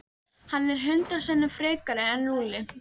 Hann er hundrað sinnum frekari en Lúlli.